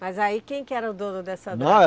Mas aí quem que era o dono dessa